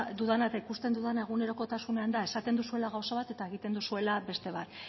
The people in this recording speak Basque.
dudana eta ikusten dudana egunerokotasunean da esaten duzuela gauza bat eta egiten duzuela beste bat